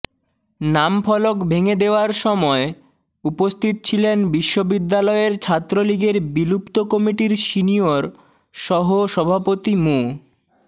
নাম ফলক ভেঙ্গে দেওয়ার সময় উপস্থিত ছিলেন বিশ্ববিদ্যালয়ের ছাত্রলীগের বিলুপ্ত কমিটির সিনিয়র সহ সভাপতি মো